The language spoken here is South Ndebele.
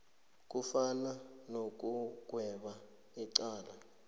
kufana nokugweba icala